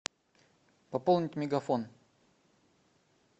пополнить мегафон